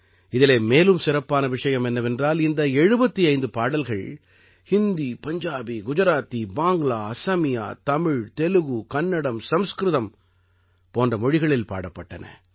இதிலே மேலும் சிறப்பான விஷயம் என்னவென்றால் இந்த 75 பாடல்கள் ஹிந்தி பஞ்சாபி குஜராத்தி பாங்க்லா அசமியா தமிழ் தெலுகு கன்னடம் சம்ஸ்கிருதம் போன்ற மொழிகளில் பாடப்பட்டன